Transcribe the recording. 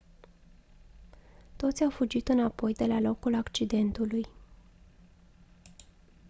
toți au fugit înapoi de la locul accidentului